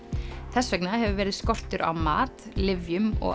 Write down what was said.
þess vegna hefur verið skortur á mat lyfjum og